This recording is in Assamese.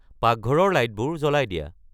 পাকঘৰৰ লাইটবোৰ জ্বলাই দিয়া